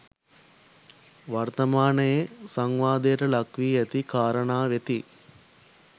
වර්ථමානයේ සංවාදයට ලක්වී ඇති කාරණා වෙති